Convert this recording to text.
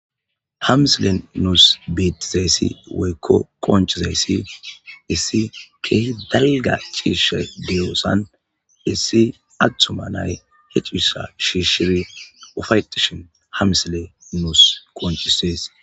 Ha misilen nus beetizayssi woykko qoncizayssi issi keehi dalga ciishshay de'ossan issi attuma nay he ciishsha shiishshi ufa'etashin ha misiley nus qoncises.